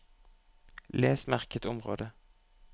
Les merket område